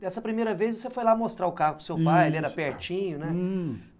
Dessa primeira vez, você foi lá mostrar o carro para o seu pai, isso, ele era pertinho, né? Hum.